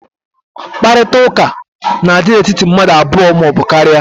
Nkparịta ụka n'adị n'etiti mmadụ abụọ maọbụ karịa